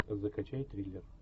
закачай триллер